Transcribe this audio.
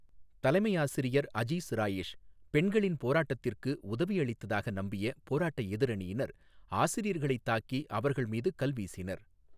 தலைமை ஆசிரியர் அஜீஸ் ராயேஷ் பெண்களின் போராட்டத்திற்கு உதவியளித்ததாக நம்பிய போராட்ட எதிரணியினர் ஆசிரியர்களைத் தாக்கி அவர்கள் மீது கல் வீசினர்.